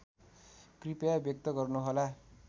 कृपया व्यक्त गर्नुहोला